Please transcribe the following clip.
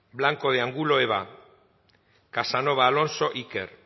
blanco de angulo eba casanova alonso iker